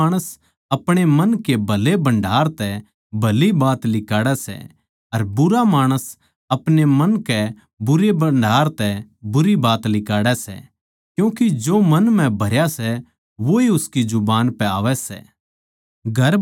भला माणस अपणे मन के भले भण्डार तै भली बात लिकाड़ै सै अर बुरा माणस अपणे मन के बुरे भण्डार तै बुराई की बात लिकाड़ै सै क्यूँके जो मन म्ह भरया सै वोए उसकी जुबान पै आवै सै